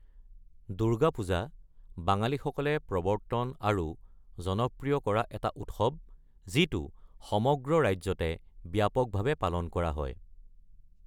দুৰ্গা পূজা বাঙালীসকলে প্ৰৱৰ্তন আৰু জনপ্ৰিয় কৰা এটা উৎসৱ, যিটো সমগ্ৰ ৰাজ্যতে ব্যাপকভাৱে পালন কৰা হয়।